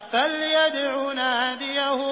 فَلْيَدْعُ نَادِيَهُ